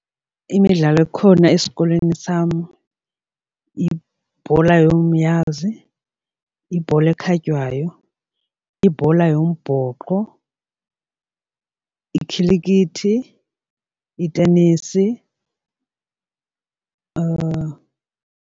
Imidlalo ikhona esikolweni sam ibhola yomnyazi, ibhola ekhatywayo, ibhola yombhoxo, ikhilikithi, itenisi .